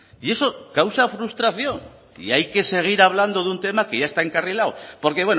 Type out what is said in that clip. y eso causa frustración y hay que seguir hablando de un tema que ya está encarrilado porque